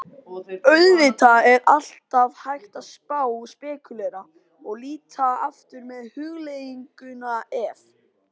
Auðvitað er alltaf hægt að spá og spekúlera, og líta aftur með hugleiðinguna ef?